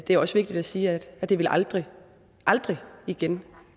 det er også vigtigt at sige at det vil aldrig aldrig igen